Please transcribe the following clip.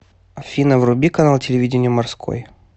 афина вруби канал телевидения морской